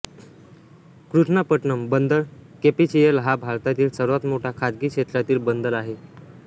कृष्णापट्टणम बंदर केपीसीएल हा भारतातील सर्वात मोठा खाजगी क्षेत्रातील बंदर आहे